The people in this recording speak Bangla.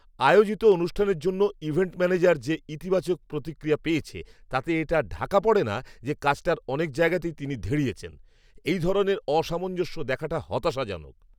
আয়োজিত অনুষ্ঠানের জন্য ইভেন্ট ম্যানেজার যে ইতিবাচক প্রতিক্রিয়া পেয়েছে তাতে এটা ঢাকা পড়েনা যে কাজটার অনেক জায়গাতেই তিনি ধেড়িয়েছেন। এই ধরনের অসামঞ্জস্য দেখাটা হতাশাজনক।